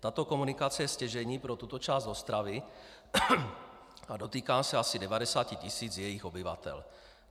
Tato komunikace je stěžejní pro tuto část Ostravy a dotýká se asi 90 tisíc jejích obyvatel.